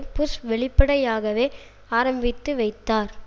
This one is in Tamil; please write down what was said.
புஷ் வெளிப்படையாகவே ஆரம்பித்து வைத்தார்